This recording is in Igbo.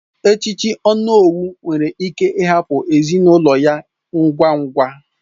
Echiche onowu nwere ike hapụ ezinụlọ ya ngwa ngwa